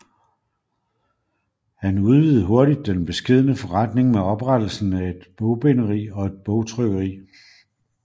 Han udvidede hurtigt den beskedne forretning med oprettelsen af et et bogbinderi og et bogtrykkeri